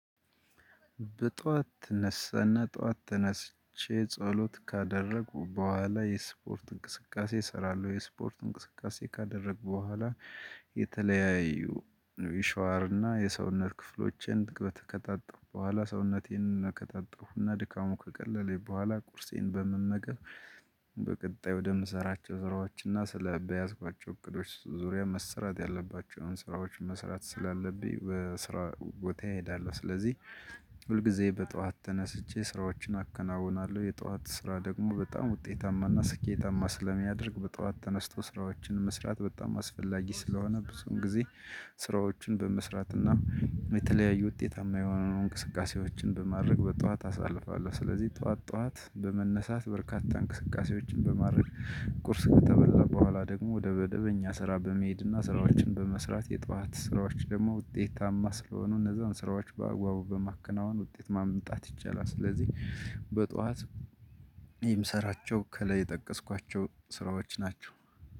በጧት ትነሳና ጧት ተነስቼ ጸሎት ካደረጉ በኋላ የስፖርት እንቅስቃሴ እሰራለሁ የስፖርት እንቅስቃሴ ካደረግኩ በኋላ የተለያዩ የሻዋር እና የሰውነት ክፍሎቼን ከታጠብኩ በኋላ ሰውነቴን ከጣብኩና ድካሙ ከቀለለኝ በኋላ ቁርሴን በመመገብ በቀጣይ ወደምሰራቸው ስረዋችና ስለ በያዝኳቸው እቅዶች ዙሪያ መሰራት ያለባቸውን ስራዎች መስራት ስላለብኝ በስራ ቦታዬ እሄዳለው። ስለዚህ ሁልጊዜ በጧት ተነስቼ ስራዎችን አከናውናለሁ የጧት ስራ ደግሞ በጣም ውጤታማና ስኬታማ ስለሚያደርግ በጠዋት ተነስቶ ስራዎችን መስራት በጣም አስፈላጊ ስለሆነ ብዙን ጊዜ። ስራዎችን በመስራት እና የተለያዩ ውጤታማ የሆኑ እንቅስቃሴዎችን በማድረግ በጧት አሳልፋል። ስለዚህ ጧት ጧት በመነሳት በርካታ እንቅስቃሴዎችን በማድረግ ቁርስ ከተበላ በኋላ ደግሞ ወደ በደበኛ ስራ በመሄድና ስራዎችን በመስራት የጧት ስራዎች ደግሞ ውጤታማ ስለሆኑ እነዛን ስራዎች በአጓቡ በማከናወን ውጤት ማምጣት ይቻላል። ስለዚህ በጧት የምሰራቸው ከላይ የጠቀስኳቸው ስራዎች ናቸው።